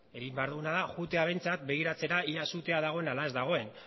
egin behar duena da jutea behintzat begiratzera ea sutea dagoen ala ez dagoen